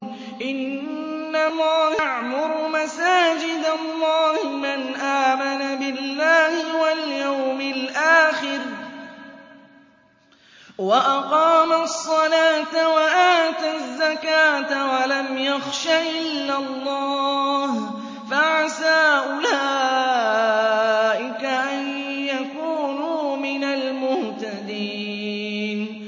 إِنَّمَا يَعْمُرُ مَسَاجِدَ اللَّهِ مَنْ آمَنَ بِاللَّهِ وَالْيَوْمِ الْآخِرِ وَأَقَامَ الصَّلَاةَ وَآتَى الزَّكَاةَ وَلَمْ يَخْشَ إِلَّا اللَّهَ ۖ فَعَسَىٰ أُولَٰئِكَ أَن يَكُونُوا مِنَ الْمُهْتَدِينَ